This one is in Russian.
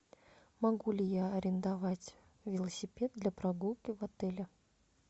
могу ли я арендовать велосипед для прогулки в отеле